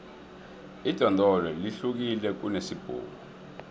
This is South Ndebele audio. idondolo lihlukile kunesibhuku